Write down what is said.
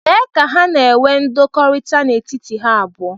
Lee ka ha na-enwe ndọkọrita n'etiti ha abụọ.